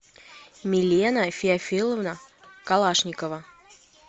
милена феофиловна калашникова